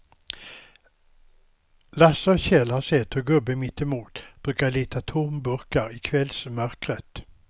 Lasse och Kjell har sett hur gubben mittemot brukar leta tomburkar i kvällsmörkret.